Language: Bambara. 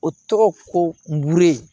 O tɔgɔ ko n buru yen